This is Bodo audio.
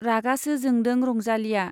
रागासो जोंदो रंजालीया।